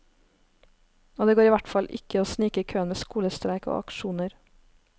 Og det går i hvert fall ikke å snike i køen med skolestreik og aksjoner.